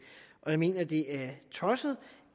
jeg mener det er tosset